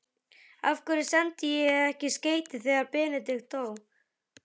Af hverju sendi ég ekki skeyti þegar Benedikt dó?